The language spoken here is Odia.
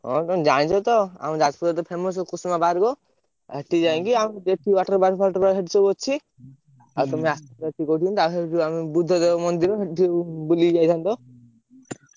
ହଁ ତମେ ଜାଣିଚି ତ ଆମ ଯାଜପୁରରେ ତ famous ଖୁସିମା park ସେଠି ଯାଇକି ଆମେ water park ଫାଟର park ସେଠି ସବୁ ଅଛି। ଆଉ ତମେ ଆସିବ ଦିନି ତା ସହକୁ ଆମେ ବୁଦ୍ଧଦେବ ମନ୍ଦିର ସେଠି ବୁଲିକି ଯାଇଥାନ୍ତ।